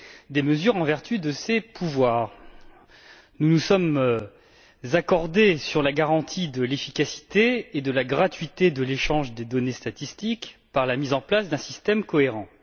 des mesures en vertu de ses pouvoirs. Nous nous sommes accordés sur la garantie de l'efficacité et de la gratuité de l'échange des données statistiques par la mise en place d'un système cohérent.